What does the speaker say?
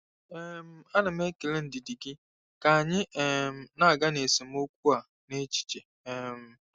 um Ana m ekele ndidi gị ka anyị um na-aga n'esemokwu a n'echiche. um